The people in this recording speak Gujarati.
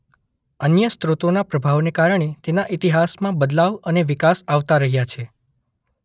અન્ય સ્રોતોના પ્રભાવને કારણે તેના ઇતિહાસમાં બદલાવ અને વિકાસ આવતા રહ્યા છે.